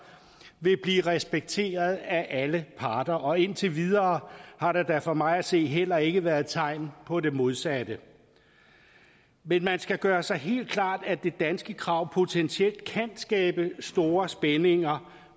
vil blive respekteret af alle parter og indtil videre har der da for mig at se heller ikke været tegn på det modsatte men man skal gøre sig helt klart at det danske krav potentielt kan skabe store spændinger